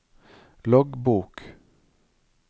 loggbok